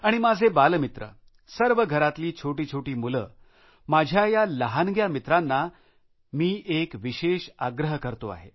आणि माझे बालमित्र सर्व घरातली छोटीछोटी मुले माझ्या या लहानग्या मित्रांना पण मी एक विशेष आग्रह करतो आहे